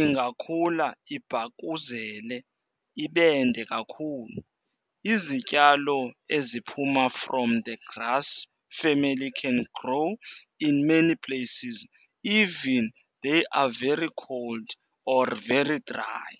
ingakhula ibhakuzele ibende kakhulu. Izityalo eziphuma from the grass family can grow in many places, even if they are very cold or very dry.